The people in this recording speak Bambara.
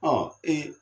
Ɔ ee